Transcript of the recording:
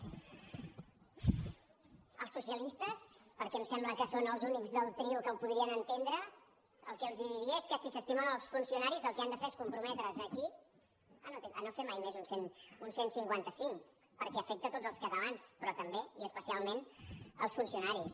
als socialistes perquè em sembla que són els únics del trio que ho podrien entendre el que els diria és que si s’estimen els funcionaris el que han de fer és comprometre’s aquí a no fer mai més un cent i cinquanta cinc perquè afecta tots els catalans però també i especialment els funcionaris